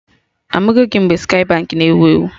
Amụgo gị mgbe Skye Baankị na ewu ewu?